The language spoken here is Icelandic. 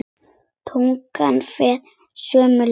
Tungan fer sömu leið.